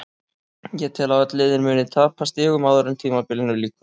Ég tel að öll liðin muni tapa stigum áður en tímabilinu lýkur.